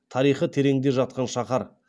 тарихы тереңде жатқан шаһар